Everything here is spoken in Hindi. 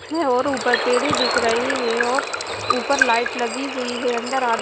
और ऊपर पेड़ दिख रहे है और ऊपर लाइट लगी हुई है अंदर आर--